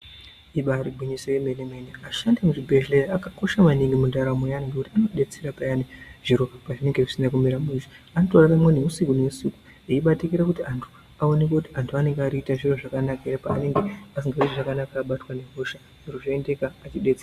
Ibari gwinyiso yemene mene ashandi emuzvibhedhlera akakosha maningi mundaramo yevantu ngekuti inodetsera payani zviro pazvinenge zvisina kumira mushe anotoraramwo neusiku neusiku eibatikira kuti antu aoneke kuti antu aoneke kuti antu anenge arikuita zvakanaka ere paanenge asikazwi zvakanaka abatwa ngehosha zviro zvoendeka eidetsereka.